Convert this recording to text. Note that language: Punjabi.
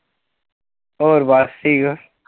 ਹੋਰ ਬਸ ਠੀਕ